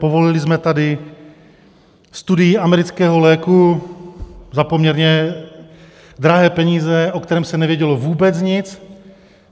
Povolili jsme tady studii amerického léku za poměrně drahé peníze, o kterém se nevědělo vůbec nic.